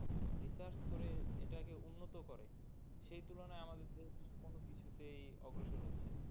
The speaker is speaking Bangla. Research করে যেভাবে এটাকে উন্নত করে সে তুলনায় আমাদের দেশ কোনো কিছু তেই অগ্রসর হচ্ছে না।